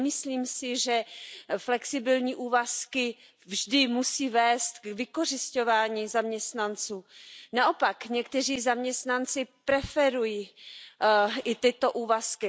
Nemyslím si, že flexibilní úvazky vždy musí vést k vykořisťování zaměstnanců, naopak někteří zaměstnanci preferují i tyto úvazky.